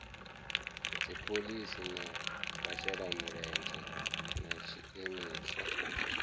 dziphoḽisi na vhashelamulenzhe na tshiimiswa